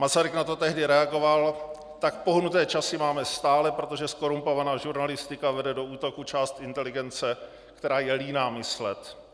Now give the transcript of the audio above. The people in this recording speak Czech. Masaryk na to tehdy reagoval: "Tak pohnuté časy máme stále, protože zkorumpovaná žurnalistika vede do útoku část inteligence, která je líná myslet.